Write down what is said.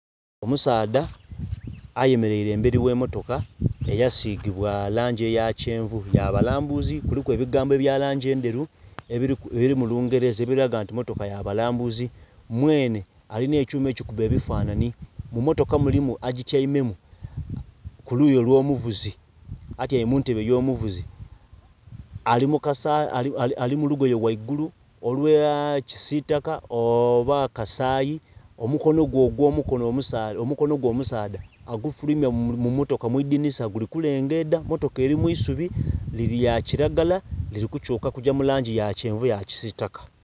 Omusaadha ayemereire emberi ghe motoka eya sigibwa langi eya kyenvu, yabalambuzi kuliku ebigambo ebya langi endheru ebili mu lungereza ebilaga nti motoka ya balambuzi. Mwenhe alinha ekyuma ekikuba ebifananhi, mu motoka mulimu agityaimemu kuluyi olwo muvuzi atyaime muntebe eyo muvuzi. Ali mu lugoye ghaigulu olwa kisitaka oba kasayi, omukonho gwe omusaadha agufuluimya mu motoka mwi idhinhisa guli kulengedha motoka eri mwisubi lya kilagala lili ku kyuka kugya mulangi ya kyenvu ya kisitaka.